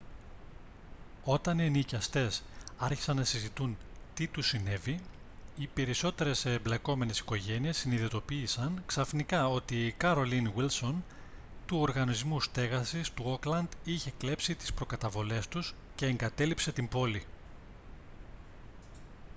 όταν οι ενοικιαστές άρχισαν να συζητούν τι τους συνέβη οι περισσότερες εμπλεκόμενες οικογένειες συνειδητοποίησαν ξαφνικά ότι η carolyn wilson του οργανισμού στέγασης του όκλαντ είχε κλέψει τις προκαταβολές τους και εγκατέλειψε την πόλη